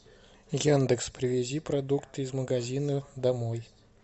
яндекс привези продукты из магазина домой